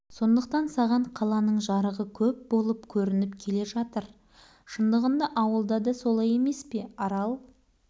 соңдықтан саған қаланың жарығы көп болып көрініп келе жатыр шындығында ауылда да солай емес пе арал